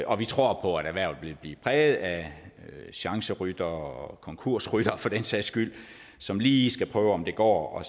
og vi tror på at erhvervet vil blive præget af chanceryttere og konkursryttere for den sags skyld som lige skal prøve om det går og